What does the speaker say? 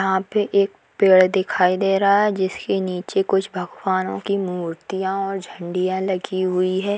यहाँ पे एक पेड़ दिखाई दे रहा है जिसके नीचे कुछ भगवानों की मूर्तियां और झंडियां लगी हुई है।